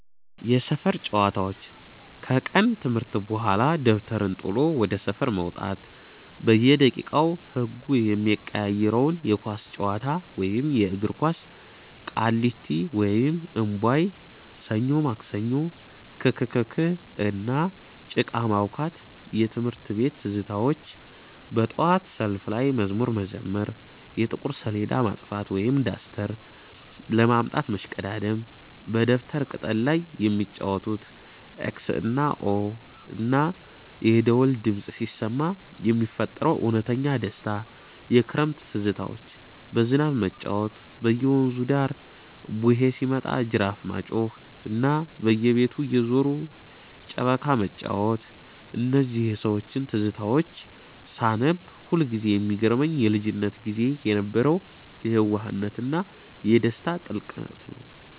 የሰፈር ጨዋታዎች፦ ከቀን ትምህርት በኋላ ደብተርን ጥሎ ወደ ሰፈር መውጣት፤ በየደቂቃው ህጉ የሚቀያየረው የኳስ ጨዋታ (የእግር ኳስ)፣ ቃሊቲ (እምቧይ)፣ ሰኞ ማክሰኞ፣ ክክክ፣ እና ጭቃ ማቡካት። የትምህርት ቤት ትዝታዎች፦ በጠዋት ሰልፍ ላይ መዝሙር መዘመር፣ የጥቁር ሰሌዳ ማጥፊያ (ዳስተር) ለማምጣት መሽቀዳደም፣ በደብተር ቅጠል ላይ የሚጫወቱት "ኤክስ እና ኦ"፣ እና የደወል ድምፅ ሲሰማ የሚፈጠረው እውነተኛ ደስታ። የክረምት ትዝታዎች፦ በዝናብ መጫወት፣ በየወንዙ ዳር "ቡሄ" ሲመጣ ጅራፍ ማጮኽ፣ እና በየቤቱ እየዞሩ ጨበካ መጫወት። እነዚህን የሰዎች ትዝታዎች ሳነብ ሁልጊዜ የሚገርመኝ የልጅነት ጊዜ የነበረው የየዋህነትና የደስታ ጥልቀት ነው።